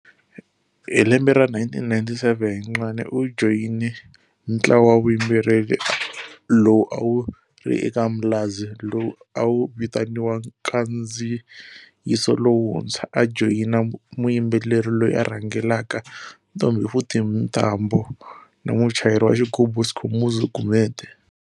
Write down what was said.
Hi lembe ra 1997, Ncwane u joyine ntlawa wa vuyimbeleri lowu a wu ri eka Mlazi lowu awu vitaniwa Nkandziyiso Lowuntshwa, a joyina muyimbeleri loyi a rhangelaka Ntombifuthi Mntambo na muchayeri wa xigubu Skhumbuzo Gumede.